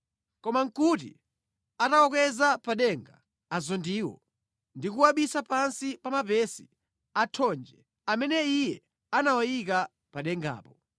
Koma nʼkuti atawakweza pa denga azondiwo ndi kuwabisa pansi pa mapesi a thonje amene iye anawayika pa dengapo.